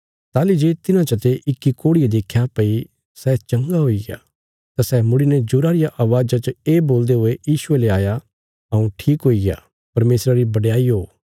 ताहली जे तिन्हां चा ते इक्की कोढ़िये देख्या भई सै चंगा हुईग्या तां सै मुड़ीने जोरा रिया अवाज़ा च ये बोलदे हुये यीशुये ले आया हऊँ ठीक हुईग्या परमेशरा री बडयाई ओ